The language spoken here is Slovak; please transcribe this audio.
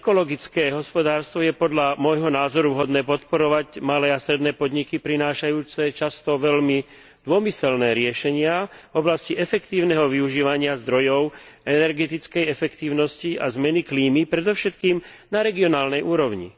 ekologické hospodárstvo je podľa môjho názoru vhodné podporovať malé a stredné podniky prinášajúce často veľmi dômyselné riešenia v oblasti efektívneho využívania zdrojov energetickej efektívnosti a zmeny klímy predovšetkým na regionálnej úrovni.